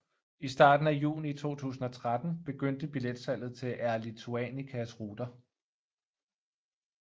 I starten af juni 2013 begyndte billetsalget til Air Lituanicas ruter